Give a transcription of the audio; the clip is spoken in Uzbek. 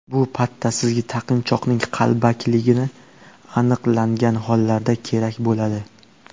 Bu patta sizga taqinchoqning qalbakiligi aniqlangan hollarda kerak bo‘ladi.